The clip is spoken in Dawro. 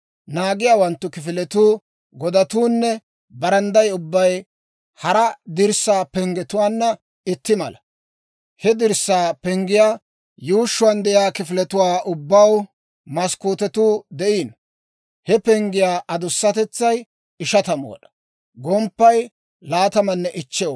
Naagiyaawanttu kifiletuu, godatuunne barandday ubbay hara dirssaa penggetuwaanna itti mala. He dirssaa penggiyaa yuushshuwaan de'iyaa kifiletuwaa ubbaw maskkootetuu de'iino. He penggiyaa adusatetsay 50 wad'aa; gomppaykka 25 wad'aa.